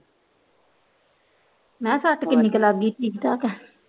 ਮੈ ਸੱਟ ਕਿੰਨੀ ਕ ਲੱਗ ਗੀ ਠੀਕ ਠਾਕ ਆ